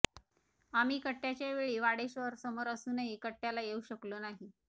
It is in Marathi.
आम्ही कट्ट्याच्या वेळी वाडेश्वरसमोर असूनही कट्ट्याला येऊ शकलो नाही